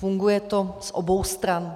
Funguje to z obou stran.